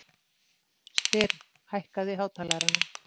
Styrr, hækkaðu í hátalaranum.